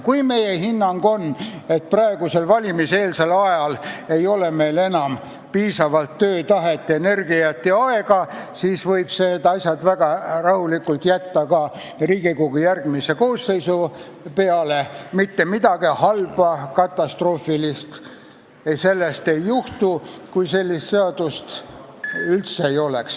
Kui meie hinnang on, et praegusel valimiseelsel ajal ei ole meil enam piisavalt töötahet, energiat ja aega, siis võib need asjad väga rahulikult jätta ka Riigikogu järgmisele koosseisule, mitte midagi katastroofilist ei juhtu, kui sellist seadust üldse ei ole.